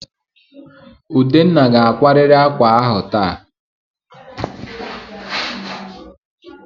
Udenna ga-akwarịrị ákwà ahụ taa!